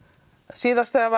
síðast þegar